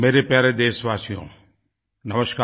मेरे प्यारे देशवासियो नमस्कार